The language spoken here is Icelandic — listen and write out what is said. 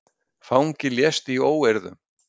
Fangi lést í óeirðum